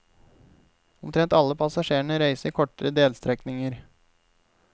Omtrent alle passasjerene reiser kortere delstrekninger.